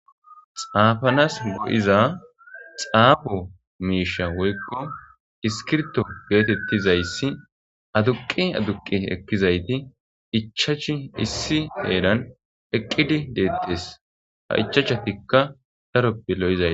xaafanas go7iza xaabo miisha woykko iskirto geetettizayssi aduqi aduqi ekkizayti ichachi issi heran eqqidi deettees ha ichachatikka taroppe lo7izayta